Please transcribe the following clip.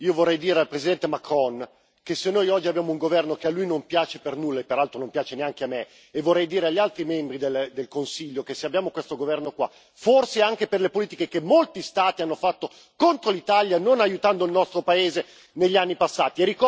Io vorrei dire al Presidente Macron che se noi oggi abbiamo un governo che a lui non piace per nulla, e che peraltro non piace neanche a me, e vorrei dire agli altri membri del Consiglio che se abbiamo questo governo qua, forse è anche per le politiche che molti Stati hanno fatto contro l'Italia, non aiutando il nostro paese negli anni passati.